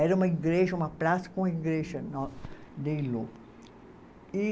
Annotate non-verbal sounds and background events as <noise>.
Era uma igreja, uma praça com igreja <unintelligible> e